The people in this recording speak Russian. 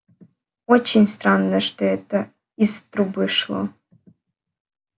очень странно что это из трубы шло